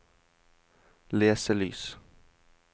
leselys